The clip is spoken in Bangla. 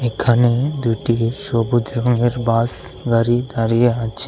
এখানে দুটি সবুজ রঙের বাস গাড়ি দাঁড়িয়ে আছে।